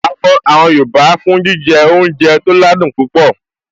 A mọ àwọn yoòbá fún jíjẹ oúnjẹ tó ládùn púpọ̀